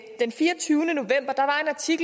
sige